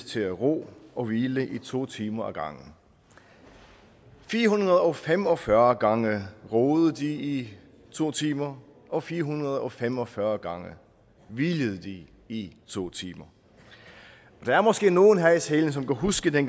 til at ro og hvile i to timer ad gangen fire hundrede og fem og fyrre gange roede de i to timer og fire hundrede og fem og fyrre gange hvilede de i to timer der er måske nogle her i salen som kan huske da